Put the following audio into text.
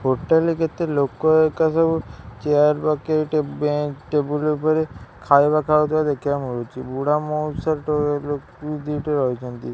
Hotel ରେ କେତେ ଲୋକ ହେକା ସବୁ ଚେୟାର ପକେଇ ଟେବୁଲ୍ ବେଞ୍ଚ ଟେବୁଲ୍ ଉପରେ ଖାଇବା ଖାଉଥିବର ଦେଖିବାକୁ ମିଳୁଛି ବୁଢା ମଉସା ଲୋକ ଦିଟା ରହିଛନ୍ତି।